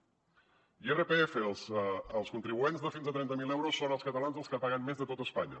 irpf dels contribuents de fins a trenta mil euros són els catalans els que paguen més de tota espanya